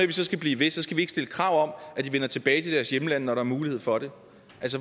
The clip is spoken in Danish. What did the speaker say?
vi så skal blive ved skal vi ikke stille krav om at de vender tilbage til deres hjemlande når der er mulighed for det